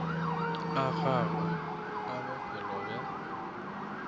a gago a bophelo bja